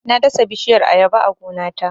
Na dasa bishiyar Ayaba a gona ta